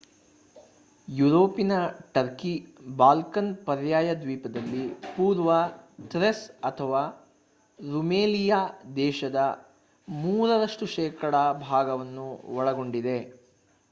European Turkey Balkan ಪರ್ಯಾಯ ದ್ವೀಪದಲ್ಲಿ ಪೂರ್ವ ಥ್ರೇಸ್ ಅಥವಾ ರುಮೆಲಿಯಾ ದೇಶದ 3% ರಷ್ಟು ಭಾಗವನ್ನು ಒಳಗೊಂಡಿದೆ